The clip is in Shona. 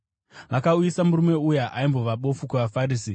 Vakauyisa murume uya aimbova bofu kuvaFarisi.